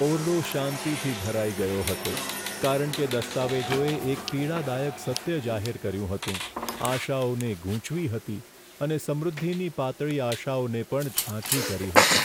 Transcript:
ઓરડો શાંતિથી ભરાઈ ગયો હતો કારણ કે દસ્તાવેજોએ એક પીડાદાયક સત્ય જાહેર કર્યું હતું, આશાઓને ગૂંચવી હતી અને સમૃદ્ધિની પાતળી આશાઓને પણ ઝાંખી કરી હતી.